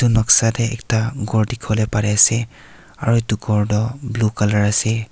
noksa te ekta ghor dikhiwole pari ase aro itu ghor toh blue color ase.